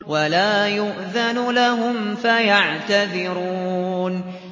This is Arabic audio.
وَلَا يُؤْذَنُ لَهُمْ فَيَعْتَذِرُونَ